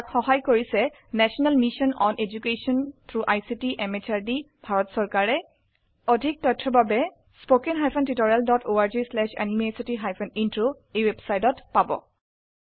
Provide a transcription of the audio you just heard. ইয়াক সহায় কৰিছে national mission on education through ICT MHRD Bharat চৰকাৰে এই মিশ্যন সম্পৰ্কত অধিক তথ্য spoken hyphen tutorial dot org slash এনএমইআইচিত হাইফেন ইন্ট্ৰ ৱেবচাইটত পোৱা যাব